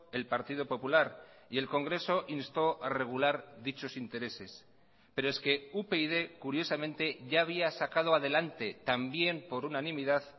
el partido popular y el congreso instó a regular dichos intereses pero es que upyd curiosamente ya había sacado adelante también por unanimidad